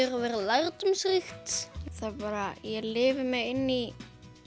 verið lærdómsríkt það bara ég lifi mig inn í